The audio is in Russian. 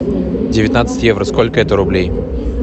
девятнадцать евро сколько это рублей